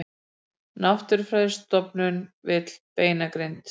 Náttúrufræðistofnun vill beinagrind